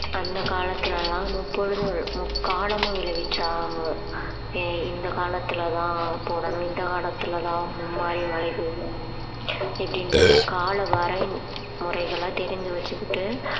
அந்த காலத்துல எல்லாம் முப்பொழுது முக்காலமும் விளைவிச்சாங்க ஆஹ் இந்த காலத்துலதான் போடணும் இந்த காலத்துலதான் மும்மாரி மழை பெய்யும் இப்படின்டு அந்த கால வரைமுறைகளை தெரிஞ்சு வச்சுக்கிட்டு